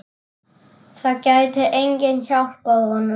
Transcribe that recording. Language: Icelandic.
Það gæti enginn hjálpað honum.